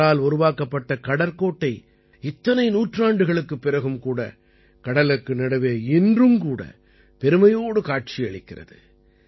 அவரால் உருவாக்கப்பட்ட கடற்கோட்டை இத்தனை நூற்றாண்டுகளுக்குப் பிறகும் கூட கடலுக்கு நடுவே இன்றும் கூட பெருமையோடு காட்சியளிக்கிறது